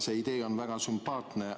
See idee on väga sümpaatne.